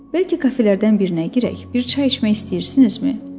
Bəlkə kafelərdən birinə girək, bir çay içmək istəyirsinizmi?